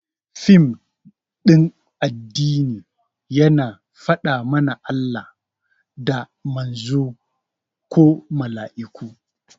Fim ɗin addini yana faɗa mana Allah, da Manzon ko Mala'iku